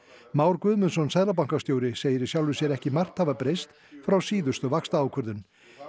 Már Guðmundsson seðlabankastjóri segir í sjálfu sér ekki margt hafa breyst frá síðustu vaxtaákvörðun